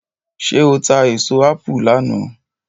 ṣe o ta èso apu lànà?